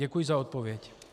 Děkuji za odpověď.